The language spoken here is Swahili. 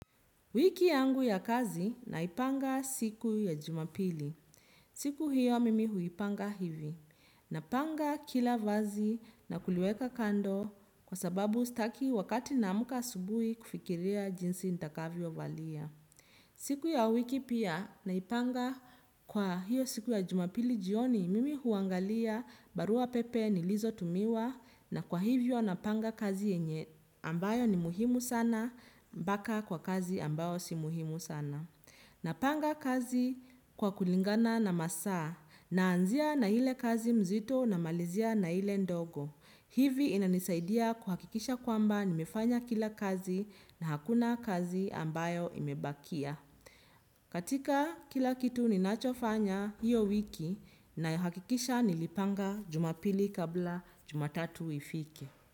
Wiki yangu ya kazi naipanga siku ya jumapili. Siku hiyo mimi huipanga hivi. Napanga kila vazi na kuliweka kando kwa sababu sitaki wakati naamka asubuhi kufikiria jinsi nitakavyo valia. Siku ya wiki pia naipanga kwa hiyo siku ya jumapili jioni mimi huangalia barua pepe ni lizo tumiwa na kwa hivyo napanga kazi yenye ambayo ni muhimu sana mpaka kwa kazi ambayo si muhimu sana. Napanga kazi kwa kulingana na masaa naanzia na ile kazi mzito namalizia na ile ndogo. Hivi inanisaidia kuhakikisha kwamba nimefanya kila kazi na hakuna kazi ambayo imebakia. Katika kila kitu ninachofanya hio wiki nahakikisha nilipanga jumapili kabla jumatatu ifike.